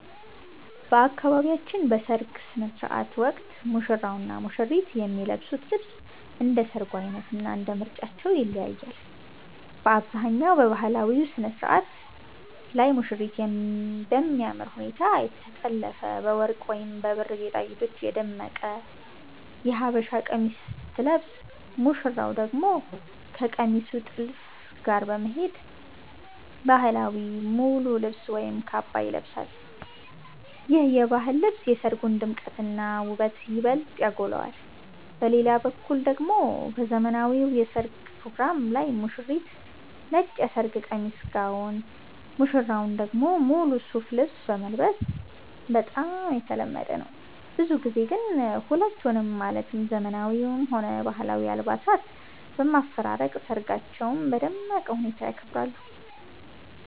በአካባቢያችን በሰርግ ሥነ ሥርዓት ወቅት ሙሽራውና ሙሽሪት የሚለብሱት ልብስ እንደ ሰርጉ ዓይነትና እንደ ምርጫቸው ይለያያል። በአብዛኛው በባህላዊው ሥነ ሥርዓት ላይ ሙሽሪት በሚያምር ሁኔታ የተጠለፈና በወርቅ ወይም በብር ጌጣጌጦች የደመቀ የሀበሻ ቀሚስ ስትለብስ፣ ሙሽራው ደግሞ ከቀሚሱ ጥልፍ ጋር የሚሄድ ባህላዊ ሙሉ ልብስ ወይም ካባ ይለብሳል። ይህ የባህል ልብስ የሰርጉን ድምቀትና ውበት ይበልጥ ያጎላዋል። በሌላ በኩል ደግሞ በዘመናዊው የሠርግ ፕሮግራም ላይ ሙሽሪት ነጭ የሰርግ ቀሚስ (ጋውን)፣ ሙሽራው ደግሞ ሙሉ ሱፍ ልብስ መልበስ በጣም የተለመደ ነው። ብዙ ጊዜ ግን ሁለቱንም ማለትም ዘመናዊውንም ሆነ ባህላዊውን አልባሳት በማፈራረቅ ሰርጋቸውን በደመቀ ሁኔታ ያከብራሉ።